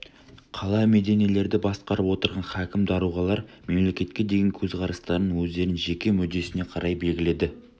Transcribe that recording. қала-мединелерді басқарып отырған хакім даруғалар мемлекетке деген көзқарастарын өздерінің жеке мүддесіне қарай белгіледі